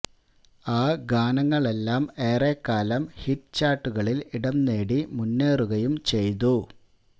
ആ ഗാനങ്ങളെല്ലാം ഏറെ കാലം ഹിറ്റ് ചാര്ട്ടുകളില് ഇടംനേടി മുന്നേറുകയും ചെയ്തു